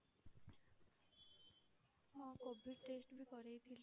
ହଁ COVID test ବି କରେଇଥିଲି।